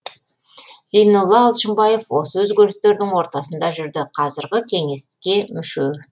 зейнолла алшынбаев осы өзгерістердің ортасында жүрді қазіргі кеңеске мүше